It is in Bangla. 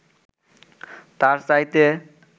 তার চাইতে